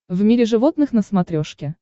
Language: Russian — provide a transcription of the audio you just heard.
в мире животных на смотрешке